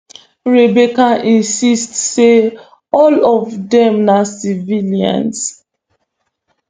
rebecca insist say all of dem na civilians